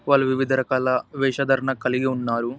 వాళ్లు వివిధ రకాల వేషధారణ కలిగి ఉన్నారు.